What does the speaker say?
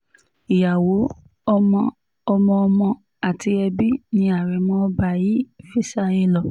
ìyàwó ọmọ ọmọọmọ àti ẹbí ni àrẹ̀mọ ọba yìí fi sáyé lọ